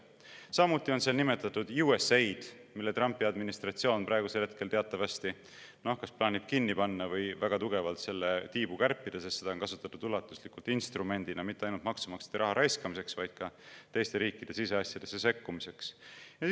Samuti on seal nimetatud USAID‑i, mida Trumpi administratsioon praegu teatavasti plaanib kas kinni panna või väga tugevalt selle tiibu kärpida, sest seda on ulatuslikult kasutatud mitte ainult maksumaksjate raha raiskamise, vaid ka teiste riikide siseasjadesse sekkumise instrumendina.